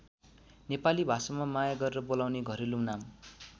नेपाली भाषामा माया गरेर बोलाउने घरेलु नाम।